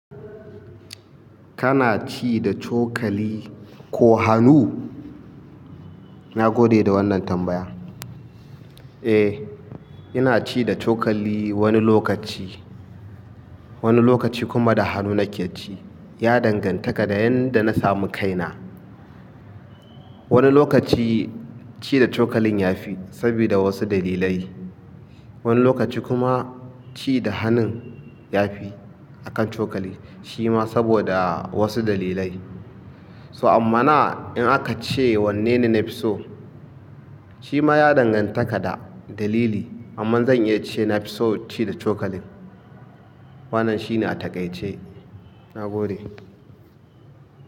Kana ci da cokali ko hannu? Na gode da wannan tambaya. Eh, ina ci da cokali wani lokaci, wani lokaci kuma da hannu nake ci. Ya dangantaka da yanda na samu kaina. Wani lokaci ci da cokalin ya fi sabida wasu dalilai, wani lokaci kuma ci da hannun ya fi akan cokali shima saboda wasu dalilai. So amma na in aka ce wanne ne na fi so, shi ma ya dangantaka da dalili amma zan iya cewa na fi son ci da cokalin. Wannan shine a taƙaice. Na gode.